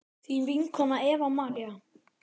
þín vinkona Eva María.